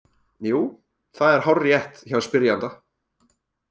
Jú, það er hárrétt hjá spyrjanda.